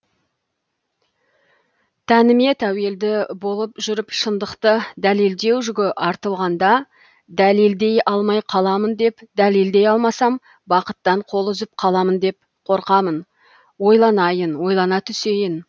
тәніме тәуелді болып жүріп шындықты дәлелдеу жүгі артылғанда дәлелдей алмай қаламын деп дәлелдей алмасам бақыттан қол үзіп қаламын деп қорқамын ойланайын ойлана түсейін